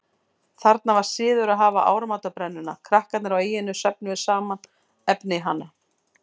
Þarna var siður að hafa áramótabrennuna, krakkarnir á eynni söfnuðu saman efni í hana.